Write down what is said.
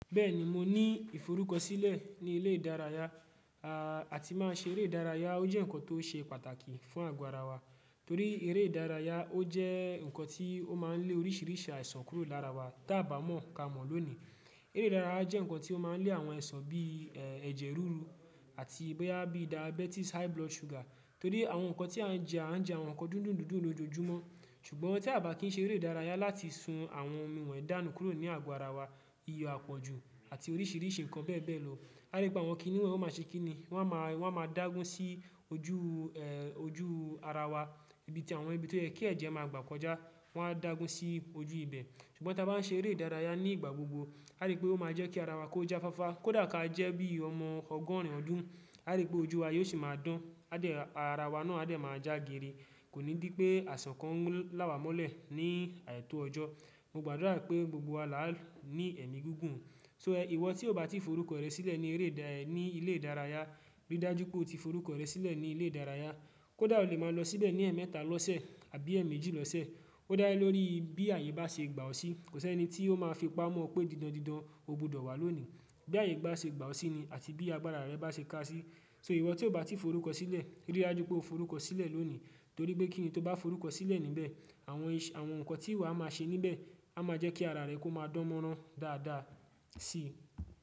Bẹ́ẹ̀ni mo ní ìforúkọ sílẹ̀ ní ilé ìdárayá, a tí máa ń ṣe eré ìdárayá ó jẹ́ nǹkan tó ṣe pàtàkì fún àgọ́ ara wa torí eré ìdárayá ó jẹ́ nǹkan tí ó máa ń lé oríṣìíríṣìí àìsàn kúrò lára wa ta bá mọ̀ ka mọ̀ lónìí. Eré ìdárayá jẹ́ nǹkan tí ó máa ń lé àwọn aisàn bí ẹ̀jẹ̀ ruru àti bóyá bí diabetes, high blood sugar torí àwọn nǹkan tí a ń jẹ, a ń jẹ àwọn nǹkan dúndùn dúndùn lójoojúmọ́ ṣùgbọ́n tí a bá kín ṣe eré ìdárayá láti sun àwọn omi wonyii dánu kúrò ní àgọ́ ara wa, iyo àpọ̀jù àti oríṣìíríṣìí nǹkan bẹ́ẹ̀ bẹ́ẹ̀ lọ. Á rí pé àwọn kìnì wọnyii máa ṣe kí ni? Wọ́n máa, wọ́n máa dágún sí ojú, ojú ara wa ibi tí àwọn ibi tí ó yẹ kí ẹ̀jẹ̀ máa gbà kọjá wọ́n á dágún sí ojú ibẹ̀ ṣùgbọ́n tí a bá ń ṣe eré ìdárayá ní ìgbà gbogbo á rí pé ó máa jẹ́ kí ara wa kó já fáfá kó dà ka jẹ́ bí ọmọ ọgọ́rin ọdún á rí pé ojú wa yóò sì máa dán, á dẹ̀ ara wa náà á dẹ̀ máa já gírí. Kò ní dí pé àisàn kan láwà mọ́lẹ̀ ní àìtó ọjọ́. Mo gbàdúrà pé gbogbo wa là á ní ẹ̀mí gígùn. So Ìwọ tí o bá ti forúkọ rẹ sílẹ̀ ní eré ìdá ní ilé ìdárayá ríi dájú pé o ti forúkọ rẹ sílẹ̀ ní ilé ìdárayá kó dà o lè máa lọ síbẹ̀ ní ẹ̀ẹ̀mẹ́ta lọ́sẹ̀ àbí ẹ̀ẹ̀méjì lọ́sẹ̀. Ó dá lórí bí ààyè bá ṣe gba ọ sí, kò sí ẹni tí ó máa fi pamọ́ pé didan didan o gbọdọ̀ wá lónìí. Bí ààyè bá ṣe gba ọ sí ni àti bí agbára rẹ bá ṣe ká sí. So ìwọ tí o bá ti forúkọ sílẹ̀ ríi dájú pé o forúkọ sílẹ̀ lónìí torí pé kíni tí o bá forúkọ sílẹ̀ níbẹ̀ àwọn àwọn nǹkan tí ìwọ a máa ṣe níbẹ̀ á máa jẹ́ kí ara rẹ kó máa dánmọ́rán dáadáa sí i.